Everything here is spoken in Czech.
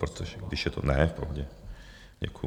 protože když je to... ne v pohodě, děkuju.